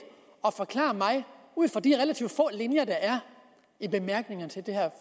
at forklare mig ud fra de relativt få linjer der er i bemærkningerne til det her